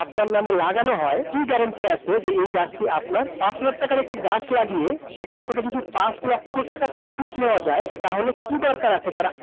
আপনার নামে লাগানো হয়, কি guarantee আছে যে এই কাজটি আপনার। পাঁচ হাজার টাকার একটি গাছ লাগিয়ে সেখান থেকে যদি পাঁচ লক্ষ টাকার profit নেয়া যায় তাহলে কি দরকার আছে